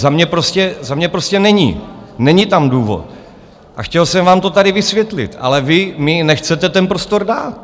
Za mě prostě není, není tam důvod, a chtěl jsem vám to tady vysvětlit, ale vy mi nechcete ten prostor dát.